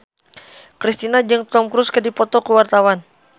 Kristina jeung Tom Cruise keur dipoto ku wartawan